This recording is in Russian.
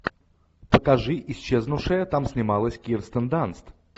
покажи исчезнувшая там снималась кирстен данст